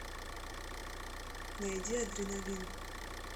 найди адреналин